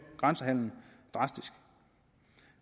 grænsehandelen drastisk